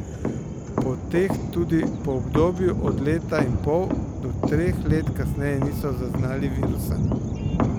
Pri teh tudi po obdobju od leta in pol do treh let kasneje niso zaznali virusa.